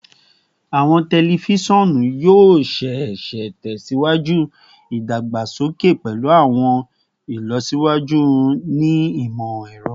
Awọn tẹlifisiọnu yoo ṣee ṣe tẹsiwaju idagbasoke pẹlu awọn ilọsiwaju ni imọ-ẹrọ